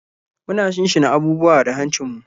Muna shinshina abubuwa da hancinmu.